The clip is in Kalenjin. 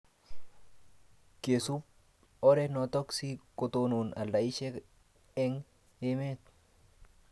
kesup oret notok si ketonon aldaishet eng' emet